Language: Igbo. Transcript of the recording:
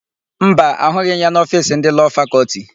Mba, ahụghị m ya n'ofiisi ndị Lọọ Fakọltị.